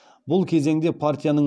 бұл кезеңде партияның